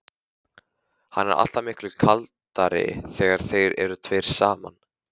Hann er alltaf miklu kaldari þegar þeir eru tveir saman.